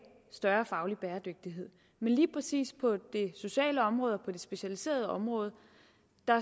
større faglig bæredygtighed men lige præcis på det sociale område og det specialiserede område